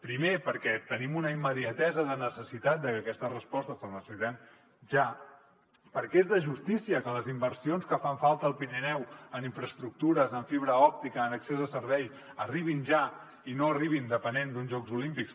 primer perquè tenim una immediatesa de necessitat que aquestes respostes les necessitem ja perquè és de justícia que les inversions que fan falta al pirineu en infraestructures en fibra òptica en accés a serveis arribin ja i no arribin depenent d’uns jocs olímpics